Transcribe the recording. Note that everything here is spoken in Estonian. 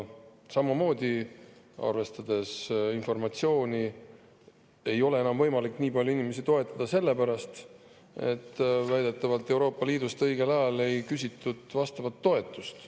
Laekunud informatsiooni kohaselt ei ole enam võimalik nii palju inimesi toetada selle pärast, et väidetavalt ei küsitud Euroopa Liidust õigel ajal vastavat toetust.